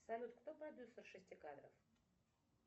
салют кто продюсер шести кадров